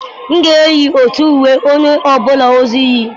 M ga-eyi otu uwe onye ọ bụla ọzọ yi.